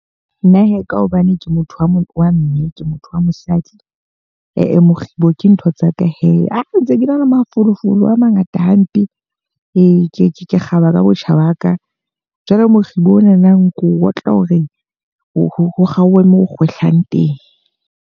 Nna he, ka hobane ke motho wa mme, ke motho wa mosadi. Eh-eh mokgibo ke ntho tsaka he. Ha ntse ke na le mafolofolo a mangata hampe ke ke ke kgaba ka botjha ba ka. Jwale Mokgibo onana ko otla hore ho kgaohe moo kgwehlang teng.